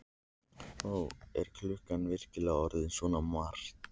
Ó, er klukkan virkilega orðin svona margt?